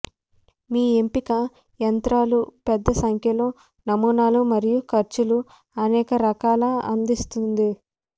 మీ ఎంపిక యంత్రాలు పెద్ద సంఖ్యలో నమూనాలు మరియు ఖర్చు అనేక రకాల అందిస్తుంది